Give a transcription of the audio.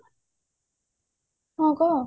ହଁ କହ